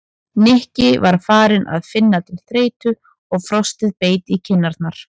Nikki var farinn að finna til þreytu og frostið beit í kinn- arnar.